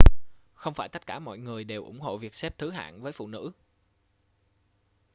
không phải tất cả mọi người đều ủng hộ việc xếp thứ hạng với phụ nữ